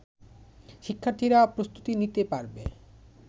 শিক্ষার্থীরা প্রস্তুতি নিতে পারবে